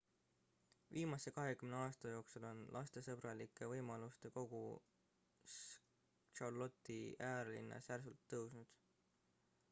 viimase 20 aasta jooksul on lastesõbralike võimaluste kogus charlotte'i äärelinnas järsult tõusnud